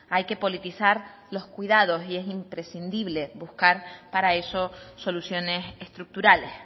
hay que politizar los cuidados y es imprescindible buscar para eso soluciones estructurales